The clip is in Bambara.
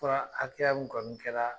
Fura hakɛya min kɔni kɛraa